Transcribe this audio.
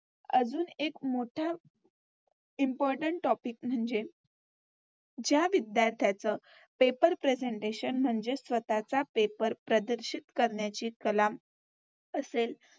अजून एक मोठा Important topic म्हणजे ज्या विद्यार्थ्यांचं Paper presentation म्हणजेच स्वतःचा पेपर प्रदर्शित करण्याची कला असेल